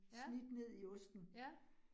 Ja. Ja